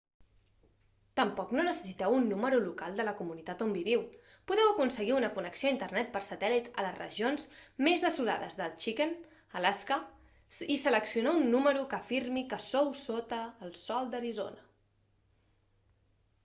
tampoc no necessiteu un número local de la comunitat on viviu podeu aconseguir una connexió a internet per satèl·lit a les regions més desolades de chicken alaska i seleccionar un número que afirmi que sou sota el sol d'arizona